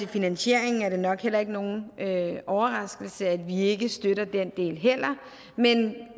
finansieringen er det nok heller ikke nogen overraskelse at vi ikke støtter den del men